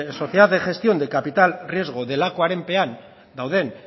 sociedad de gestión de capital riesgo delakoarenpean dauden